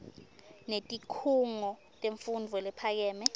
netikhungo temfundvo lephakeme